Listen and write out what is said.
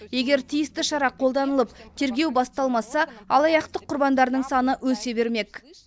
егер тиісті шара қолданылып тергеу басталмаса алаяқтық құрбандарының саны өсе бермек